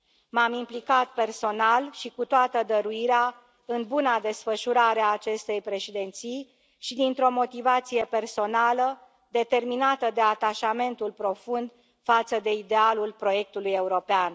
M am implicat personal și cu toată dăruirea în buna desfășurare a acestei președinții și dintr o motivație personală, determinată de atașamentul profund față de idealul proiectului european.